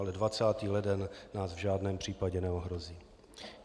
Ale 20. leden nás v žádném případě neohrozí.